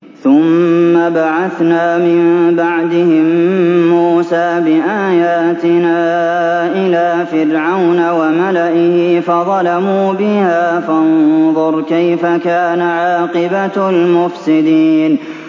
ثُمَّ بَعَثْنَا مِن بَعْدِهِم مُّوسَىٰ بِآيَاتِنَا إِلَىٰ فِرْعَوْنَ وَمَلَئِهِ فَظَلَمُوا بِهَا ۖ فَانظُرْ كَيْفَ كَانَ عَاقِبَةُ الْمُفْسِدِينَ